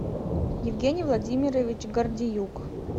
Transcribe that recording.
евгений владимирович гордеюк